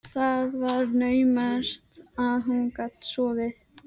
Það var naumast að hún gat sofið.